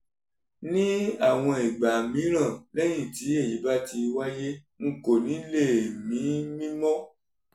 ní àwọn ìgbà mìíràn lẹ́yìn tí èyí bá ti wáyé n kò ní lè mí mí mọ́